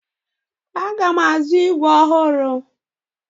Aga m azụ ígwè ọhụrụ.